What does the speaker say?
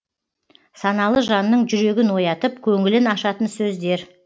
саналы жанның жүрегін оятып көңілін ашатын сөздер